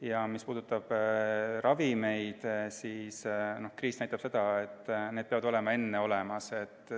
Ja mis puudutab ravimeid, siis kriis näitas seda, et need peavad olemas olema juba varem.